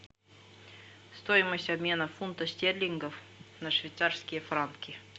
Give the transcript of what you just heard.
стоимость обмена фунта стерлингов на швейцарские франки